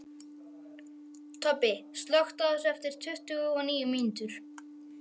Tobbi, slökktu á þessu eftir tuttugu og níu mínútur.